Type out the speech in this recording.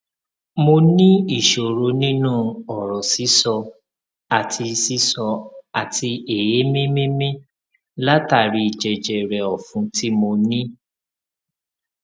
mo ní ìṣòro nínú ọrọ sísọ àti sísọ àti èémí mímí látàri jẹjẹrẹ ọfun tí mo ní